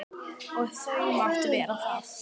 Og þau máttu vera það.